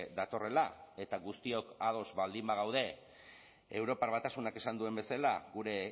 datorrela eta guztiok ados baldin bagaude europar batasunak esan duen bezala gure